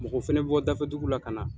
Mɔgɔ fɛnɛ bi bɔ dafɛdugu la ka na.